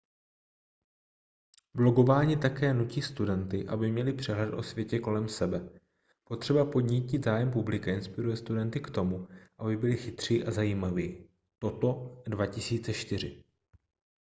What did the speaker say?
blogování také nutí studenty aby měli přehled o světě kolem sebe . potřeba podnítit zájem publika inspiruje studenty k tomu aby byli chytří a zajímaví toto 2004